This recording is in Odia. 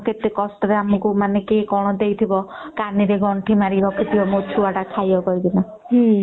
କେତେ କଷ୍ଟ ରେ ଆମକୁ କିଏ କଣ ଦେଇ ଥିବ କାନି ରେ ଗଣ୍ଠି ମାରି ରଖି ଥିବେ ମୋ ଛୁଆ ଟା ଖାଇବ କରି କିନା